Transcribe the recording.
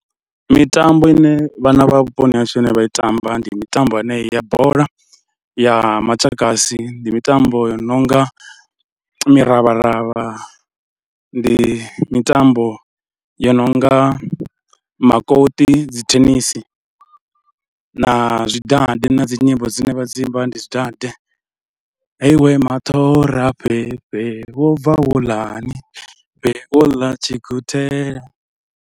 Mitambo ine vhana vha vhuponi hashu ine vha i tamba, ndi mitambo yenei ya bola ya matshakasi, ndi mitambo i no nga miravharavha, ndi mitambo yo no nga makoṱi, dzi thenisi na zwidade na dzi nyimbo dzine vha dzi imba ndi zwidade, heyi iwe maṱhora fhefhe, wo bva wo ḽa ni fhe, wo ḽa tshiguthela.